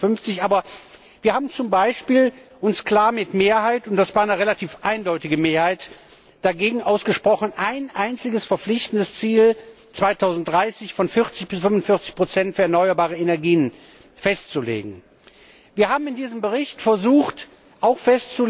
2050. Aber wir haben uns z. B. klar mit Mehrheit und das war eine relativ eindeutige Mehrheit dagegen ausgesprochen, ein einziges verpflichtendes Ziel für 2030 von 40 bis 45 für erneuerbare Energien festzulegen. Wir haben in diesem Bericht versucht, auch